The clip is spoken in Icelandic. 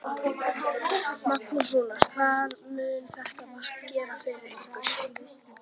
Magnús: Rúnar, hvað mun þetta vatn gera fyrir ykkur?